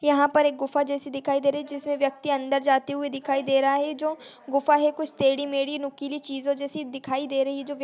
यहाँ पर एक गुफा जैसी दिखाई दे रही है जिसमें व्यक्ति अंदर जाते हुए दिखाई दे रहा है जो गुफा है कुछ तेढी-मेढ़ी नुकीली चीजों जैसी दिखाई दे रही है जो व्यक्ति --